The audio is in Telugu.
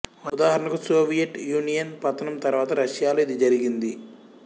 ఉదాహరణకు సోవియట్ యూనియన్ పతనం తరువాత రష్యాలో ఇది జరిగింది